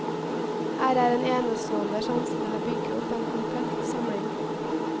Her er en enestående sjanse til å bygge opp en komplett samling.